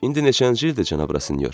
İndi neçənci ildir, cənab Rasinyor?